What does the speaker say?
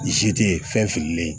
zerilen